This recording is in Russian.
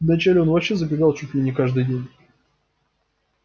вначале он вообще забегал чуть ли не каждый день